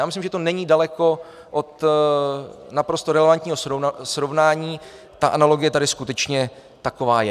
Já myslím, že to není daleko od naprosto relevantního srovnání, ta analogie tady skutečně taková je.